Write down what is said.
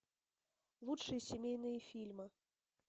лучшие семейные фильмы